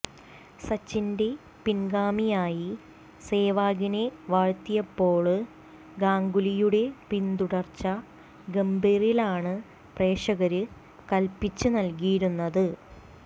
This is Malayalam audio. സച്ചിന്റെ പിന്ഗാമിയായി സെവാഗിനെ വാഴ്ത്തിയപ്പോള് ഗാംഗുലിയുടെ പിന്തുടര്ച്ച ഗംഭീറിലാണ് പ്രക്ഷകര് കല്പ്പിച്ച് നല്കിയിരുന്നത്